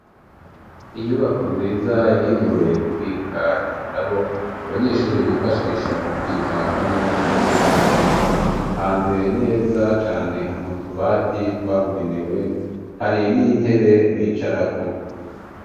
Inyubako nziza yagenewe kubika ibitabo abanyeshuri bifashisha mu kwiga hamwe na mwarimu ritanze neza cane hamutubati twabugenewe hari n'intebe bicarako.